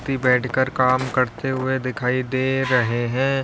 ती बैठकर काम करते हुए दिखाई दे रहे हैं।